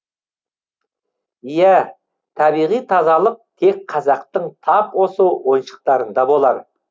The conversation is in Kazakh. иә табиғи тазалық тек қазақтың тап осы ойыншықтарында болар